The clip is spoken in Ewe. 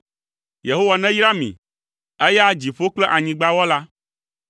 Yehowa neyra mi, eya dziƒo kple anyigba Wɔla.